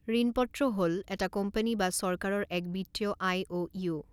ঋণপত্ৰ হ'ল এটা কোম্পানী বা চৰকাৰৰ এক বিত্তীয় আইঅ'ইউ।